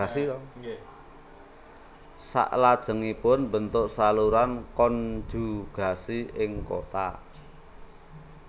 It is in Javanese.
Salajengipun mbentuk saluran konjugasi ing kontak